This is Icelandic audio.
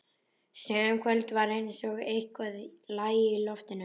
Sum kvöld var eins og eitthvað lægi í loftinu.